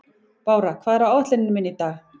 Bára, hvað er á áætluninni minni í dag?